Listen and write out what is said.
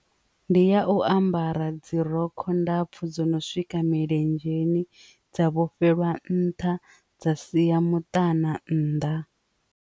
Ndi ya u ambara dzi rogo ndapfu dzo no swika milenzheni dza vhofhela nṱha dza sia mutukana nnḓa.